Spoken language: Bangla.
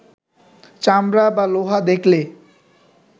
চামড়া বা লোহা দেখলে